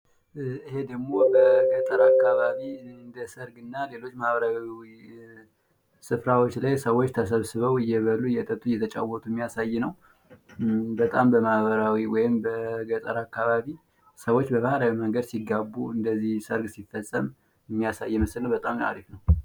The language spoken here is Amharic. ይሄ ደሞ በገጠር አካባቢ እነደ ሰርግና ሌሎች ማህበራዊ ስፍራዎች ላይ ሰዎች ተሰብስበው እየበሉ እየጠጡ እየተጫወቱ የሚያሳይ ነው። በጣም በማህበራዊ ወይም በገጠር አካባቢ ሰዎች በባህላዊ መንገድ ሲጋቡ እንደዚህ ሰርግ ሲፈፀም የሚያሳይ ምስል ነው።